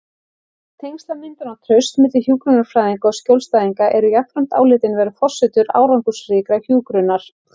Tengslamyndun og traust milli hjúkrunarfræðinga og skjólstæðinga eru jafnframt álitin vera forsendur árangursríkrar hjúkrunar.